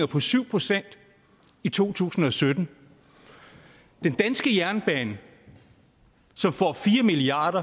på syv procent i to tusind og sytten den danske jernbane som får fire milliard